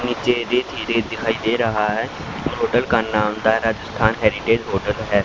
हमें जयदेव दिखाई दे रहा है और होटल का नाम द राजस्थान हेरिटेज होटल है।